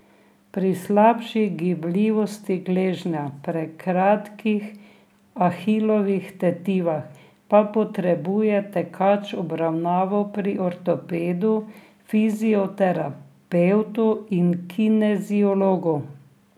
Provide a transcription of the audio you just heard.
Pri slabši gibljivosti gležnja, prekratkih ahilovih tetivah pa potrebuje tekač obravnavo pri ortopedu, fizioterapevtu in kineziologu.